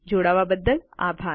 જોડાવા બદ્દલ આભાર